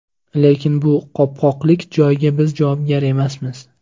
Lekin bu qopqoqlik joyga biz javobgar emasmiz.